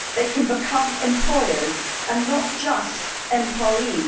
they can become employers and not just employees.